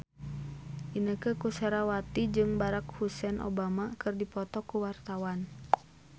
Inneke Koesherawati jeung Barack Hussein Obama keur dipoto ku wartawan